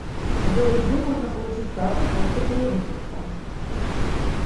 джой где можно получить карту после перевыпуска